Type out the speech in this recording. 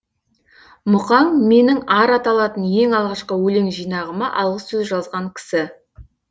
мұқаң менің ар аталатын ең алғашқы өлең жинағыма алғысөз жазған кісі